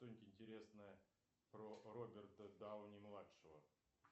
что нибудь интересное про роберта дауни младшего